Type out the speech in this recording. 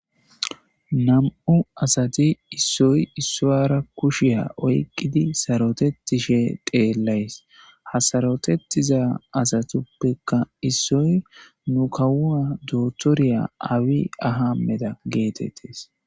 Nami'u asati issoy issowara kushiya oyqqidi sarotetishe xeellays. Hasarotetiza asatuppekka issoy nu kawua dootoriya Abiy Ahmeda geetettes.